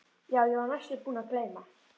Já, ég var næstum búin að gleyma.